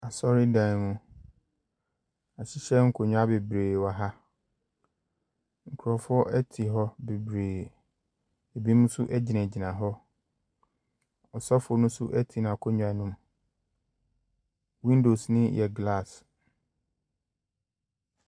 Asɔredan mu: yɛahyehyɛ nkonnwa bebree wɔ ha, nkurɔfoɔ te hɔ bebree, binom nso gyinagyina hɔ, ɔsɔfo no nso te n’akonwa mu, windows no yɛ glass.